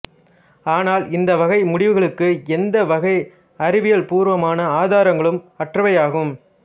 ஆனால் இந்த வகை முடிவுகளுக்கு எந்த வகை அறிவியல்பூர்வமான ஆதாரங்களும் அற்றவையாகும்